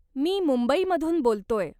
मी मुंबईमधून बोलतोय?